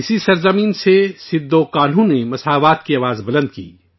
اسی سرزمین سے سدھو کانہو نے برابری کی آواز اٹھائی